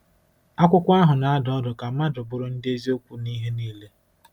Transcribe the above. Akwụkwọ ahụ na-adụ ọdụ ka mmadụ bụrụ ndị eziokwu n’ihe niile.